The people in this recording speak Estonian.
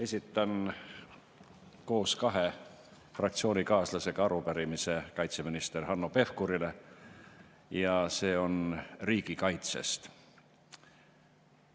Esitan koos kahe fraktsioonikaaslasega arupärimise kaitseminister Hanno Pevkurile, see on riigikaitse kohta.